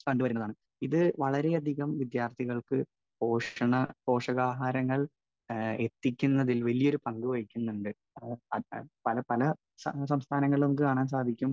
Speaker 1 കണ്ടുവരുന്നതാണ്. ഇത് വളരെയധികം വിദ്യാർഥികൾക്ക് പോഷണ, പോഷകാഹാരങ്ങൾ ഏഹ് എത്തിക്കുന്നതിൽ വലിയൊരു പങ്കുവഹിക്കുന്നുണ്ട്. പല, പല സംസ്ഥാനങ്ങളിലും നമുക്ക് കാണാൻ സാധിക്കും,